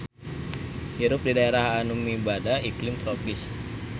Hirup di daerah anu mibanda iklim tropis.